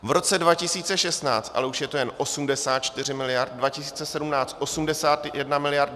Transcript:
V roce 2016 ale už je to jen 84 miliard, 2017 81 miliard.